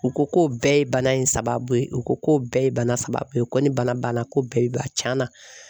U ko ko bɛɛ ye bana in sababu ye, u ko ko bɛɛ ye bana sababu ye, ko ni bana banna ko bɛɛ b'a tiɲɛna.